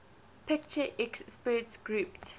picture experts group